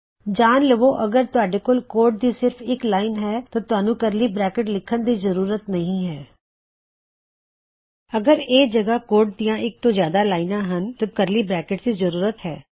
ਜਾਨ ਲਵੋ ਅਗਰ ਤੁਹਾਡੇ ਕੋਲ ਕੋਡ ਦੀ ਸਿਰਫ ਇੱਕ ਲਾਇਨ ਹੀ ਹੈ ਤਾਂ ਤੁਹਾਨੂੰ ਕਰਲੀ ਬਰੈਕਿਟਸ ਲਿਖਨ ਦੀ ਜ਼ਰੂਰਤ ਨਹੀ ਹੈ ਅਗਰ ਇਸ ਜਗਹ ਕੋਡ ਦੀ ਇੱਕ ਤੋਂ ਜ਼ਿਆਦਾ ਲਾਇਨਾਂ ਹਨ ਤਾਂ ਤੁਹਾਨੂੰ ਕਰਲੀ ਬਰੈਕਿਟਸ ਲਿਖਨ ਦੀ ਜਰੂਰਤ ਹੈ